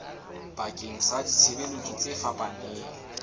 bakeng sa ditshebeletso tse fapaneng